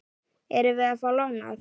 Erum við að fá lánað?